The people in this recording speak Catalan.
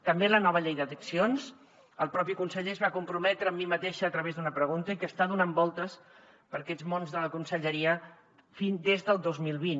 també la nova llei d’addiccions el propi conseller es va comprometre amb mi mateixa a través d’una pregunta que està donant voltes per aquests mons de la conselleria des del dos mil vint